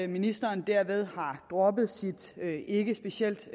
ministeren derved har droppet sit ikke specielt